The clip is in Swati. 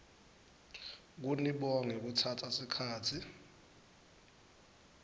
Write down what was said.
kunibonga ngekutsatsa sikhatsi